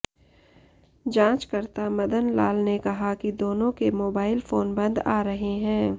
जाचंकर्ता मदन लाल ने कहा कि दोनों के मोबाइल फोन बंद आ रहे हैं